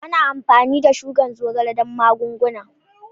Ana amfani da shukar zogale don magunguna.